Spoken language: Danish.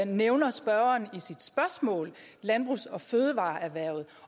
nævner spørgeren i sit spørgsmål landbrugs og fødevareerhvervet